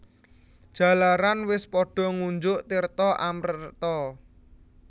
Jalaran wis padha ngunjuk tirta amreta